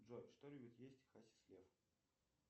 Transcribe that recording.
джой что любит есть хасис лев